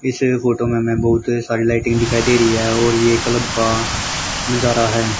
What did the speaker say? इस फोटो में बहुत सारी लाइटिंग दिखाई दे रही है और ये क्लब का नजारा है।